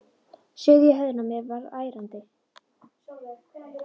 Suðið í höfðinu á mér varð ærandi.